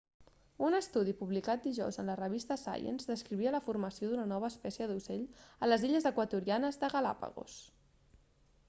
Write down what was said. un estudi publicat dijous en la revista science descrivia la formació d'una nova espècie d'ocell a les illes equatorianes de galápagos